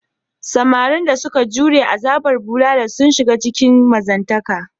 Samarin da suka jure azabar bulala suna shiga cikin mazantaka.